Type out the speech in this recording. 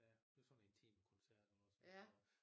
Ja det var sådan intimkoncert også